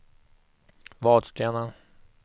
Vadstena